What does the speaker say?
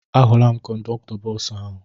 Ahụla m kọndọktọ bọọsụ ahụ.